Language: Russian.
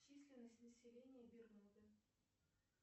численность населения бермуды